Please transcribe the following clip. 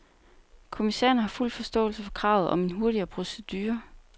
Kommissæren har fuld forståelse for kravet om en hurtigere procedure.